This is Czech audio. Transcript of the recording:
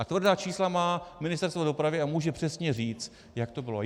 A tvrdá čísla má Ministerstvo dopravy a může přesně říct, jak to bylo.